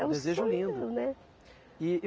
Desejo lindo. É um sonho meu, né? E